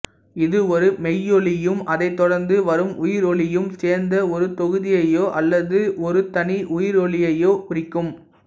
இது ஒரு மெய்யொலியும் அதைத் தொடர்ந்து வரும் உயிரொலியும் சேர்ந்த ஒரு தொகுதியையோ அல்லது ஒரு தனி உயிரொலியையோ குறிக்கும்